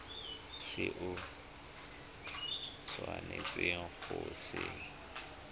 se o tshwanetseng go se